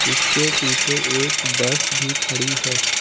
जिसके पीछे एक बस भी खड़ी है।